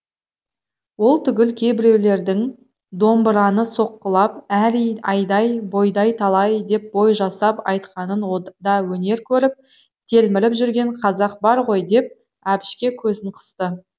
ол түгіл кейбіреулердің домбыраны соққылап әрий айдай бойдай талай деп бой жасап айтқанын да өнер көріп телміріп жүрген қазақ бар ғой деп әбішке көзін қысты